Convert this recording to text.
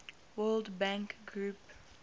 world bank group